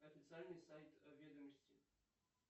официальный сайт ведомости